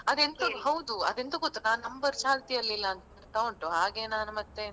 ಅದೆಂತ ಹೌದು ಅಂದೆಂತ ಗೊತ್ತ ಆ number ಚಾಲ್ತಿಯಲ್ಲಿ ಇಲ್ಲ ಅಂತ ಬರ್ತಾ ಉಂಟು ಹಾಗೆ ನಾನು ಮತ್ತೆ.